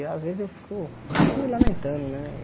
Eu às vezes eu fico, não me lamentando, né?